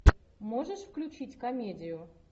можешь включить комедию